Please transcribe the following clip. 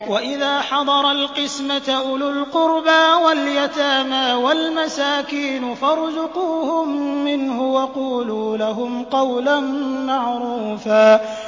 وَإِذَا حَضَرَ الْقِسْمَةَ أُولُو الْقُرْبَىٰ وَالْيَتَامَىٰ وَالْمَسَاكِينُ فَارْزُقُوهُم مِّنْهُ وَقُولُوا لَهُمْ قَوْلًا مَّعْرُوفًا